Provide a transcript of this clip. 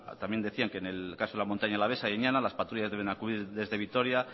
también decían que en el caso de la montaña alavesa y añana las patrullas deben acudir desde vitoria